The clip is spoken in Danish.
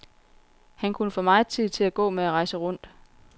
Han kunne få megen tid til at gå med at rejse rundt.